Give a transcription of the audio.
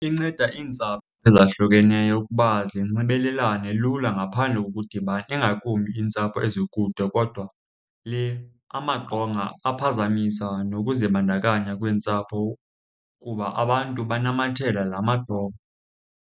Inceda iintsapho ezahlukeneyo ukuba zinxibelelane lula ngaphandle kokudibana ingakumbi iintsapho ezikude. Kodwa le amaqonga aphazamisa nokuzibandakanya kweentsapho kuba abantu banamathela la maqonga.